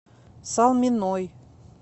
салминой